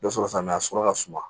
Dɔ sɔrɔ sanuya sɔrɔ ka suma